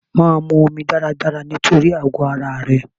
Máa mu omi dáradára nítorí àgọ ara rẹ.